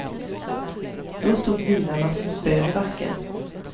Då stod bilarna som spön i backen.